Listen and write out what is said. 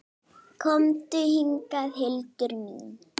Komdu hingað, Hildur mín!